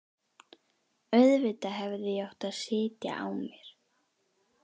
Auðvitað hefði ég átt að sitja á mér.